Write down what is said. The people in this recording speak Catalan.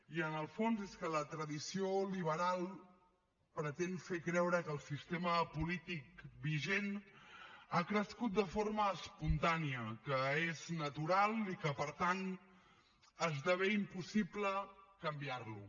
i en el fons és que la tradició liberal pretén fer creure que el sistema polític vigent ha crescut de forma espontània que és natural i que per tant esdevé impossible canviar lo